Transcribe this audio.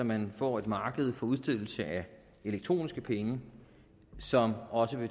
man får et marked for udstedelse af elektroniske penge som også